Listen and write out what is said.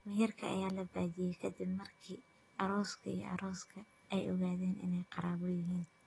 Meherka ayaa la baajiyay kadib markii arooska iyo arooska ay ogaadeen inay qaraabo yihiin.